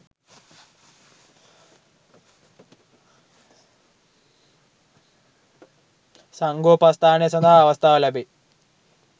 සංඝෝපස්ථානය සඳහා අවස්ථාව ලැබෙයි.